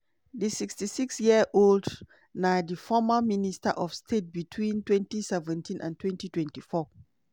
di 66 year-old na di former minister of state between 2017 and 2024.